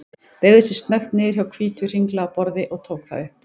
Beygði sig snöggt niður hjá hvítu, hringlaga borði og tók það upp.